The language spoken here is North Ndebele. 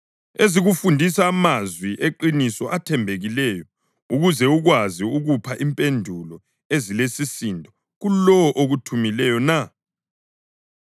ezikufundisa amazwi eqiniso athembekileyo, ukuze ukwazi ukupha impendulo ezilesisindo kulowo okuthumileyo na?